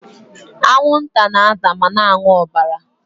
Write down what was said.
Anwụnta na-ata ma na-aṅụ ọbara.